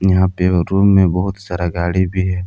यहां पे रूम में बहोत सारा गाड़ी भी है।